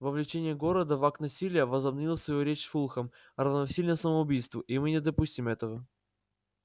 вовлечение города в акт насилия возобновил свою речь фулхам равносильно самоубийству и мы не допустим этого